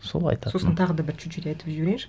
сол айтатыным сосын тағы да бір чуть чуть айтып жіберейінші